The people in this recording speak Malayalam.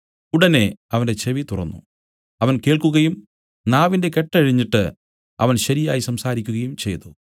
ഉടനെ അവന്റെ ചെവി തുറന്നു അവൻ കേൾക്കുകയും നാവിന്റെ കെട്ട് അഴിഞ്ഞിട്ട് അവൻ ശരിയായി സംസാരിക്കുകയും ചെയ്തു